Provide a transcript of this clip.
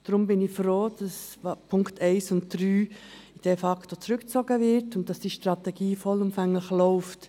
Deshalb bin ich froh, dass die Punkte 1 und 3 de facto zurückgezogen werden und die Strategie vollumfänglich läuft.